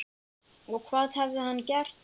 Og hvað hafði hann gert?